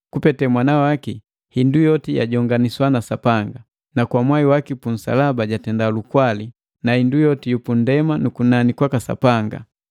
Kupete mwana waki hindu yoti yajonganiswa na Sapanga: na kwa mwai waki punsalaba jatenda lukwali, na hindu yoti yu pundema na kunani kwaka Sapanga.